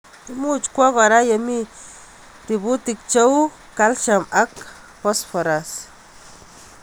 Imuch kwaak kora yemi ributik cheu Kaslsiam ak posforas.